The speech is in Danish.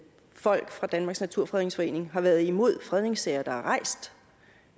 folk fra danmarks naturfredningsforening har været imod fredningssager der er rejst